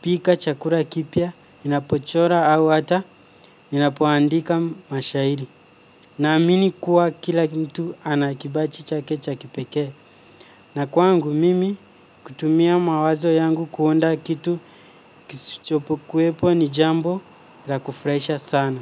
pika chakula kipya, ninapochora au hata, ninapoandika mashahiri. Na amini kuwa kila mtu anakipaji chake cha kipekee. Na kwangu mimi kutumia mawazo yangu kuunda kitu kisichopo kuepo ni jambo la kufurahisha sana.